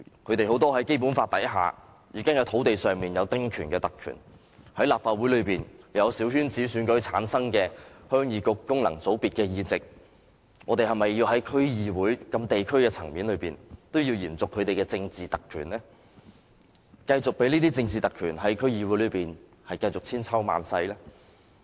他們很多人在《基本法》下已經在土地上享有丁權這特權，在立法會內有小圈子選舉產生的鄉議局功能界別議席，我們是否要在區議會這地區層面也要延續他們的政治特權呢？繼續任由這些政治特權在區議會內千秋萬世呢？